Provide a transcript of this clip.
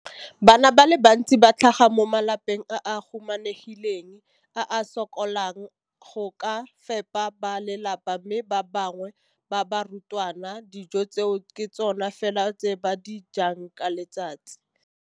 Bana ba le bantsi ba tlhaga mo malapeng a a humanegileng a a sokolang go ka fepa ba lelapa mme ba bangwe ba barutwana, dijo tseo ke tsona fela tse ba di jang ka letsatsi.